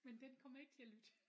Men den kommer jeg ikke til at lytte